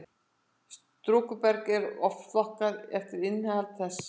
storkuberg er oft flokkað eftir innihaldi þess